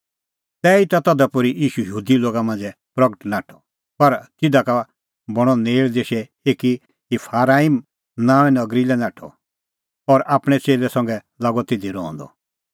तैहीता तधा पोर्ही निं ईशू यहूदी लोगा मांझ़ै प्रगटअ नाठअ पर तिधा का बणां नेल़ देशै एकी ईफराईम नांओंऐं नगरी लै नाठअ और आपणैं च़ेल्लै संघै लागअ तिधी रहंदअ